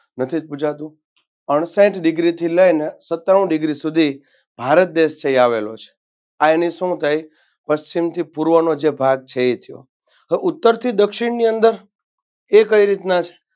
નથીજ પૂછાતું અણસાઈઠ Degree થી લઈને સત્તાણું Degree સુધી ભારત દેશ છે એ આવેલો છે આ એની શું થાય પશ્ચિમથી પૂર્વનો જે ભાગ છે એ છે તો ઉત્તરથી દક્ષિણની અંદર એ કઈ રીતના છે.